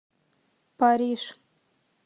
париж